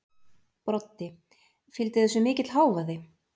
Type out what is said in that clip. Broddi: Fylgdi þessu mikill hávaði?